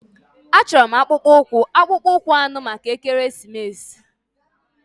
Achọrọ m akpụkpọ ụkwụ akpụkpọ anụ maka ekeresimesi.